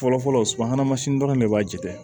Fɔlɔfɔlɔ subahana mansin dɔrɔn de b'a jɛ